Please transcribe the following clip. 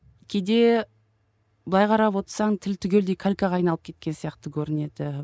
кейде былай қарап отырсаң тіл түгелдей калькаға айналып кеткен сияқты көрінеді